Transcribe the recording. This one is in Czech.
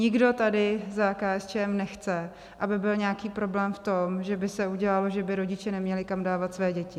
Nikdo tady za KSČM nechce, aby byl nějaký problém v tom, že by se udělalo, že by rodiče neměli kam dávat své děti.